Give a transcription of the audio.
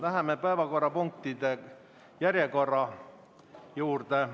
Läheme päevakorrapunktide järjekorra juurde.